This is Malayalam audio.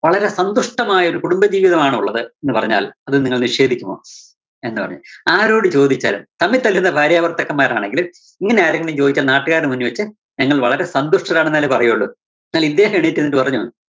വളരെ സന്തുഷ്ട്ടമായൊരു കുടുംബ ജീവിതമാണുള്ളത് എന്നു പറഞ്ഞാല്‍ അത് നിങ്ങള് നിഷേധിക്കുമോ? എന്നുപറഞ്ഞു. ആരോടു ചോദിച്ചാലും തമ്മില്‍ തല്ലുന്ന ഭാര്യാഭര്‍ത്താക്കന്മാരാണെങ്കിലും ഇങ്ങനാരെങ്കിലും ചോദിച്ചാൽ നാട്ടുകാരുടെ മുന്നില്‍ വെച്ച് ഞങ്ങള്‍ വളരെ സന്തുഷ്ട്ടരാണെന്നല്ലേ പറയോള്ളൂ. എന്നാലിദ്ദേഹം എഴുന്നേറ്റ് നിന്നിട്ട് പറഞ്ഞു.